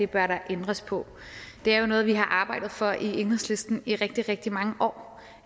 bør ændres på det er jo noget vi har arbejdet for i enhedslisten i rigtig rigtig mange år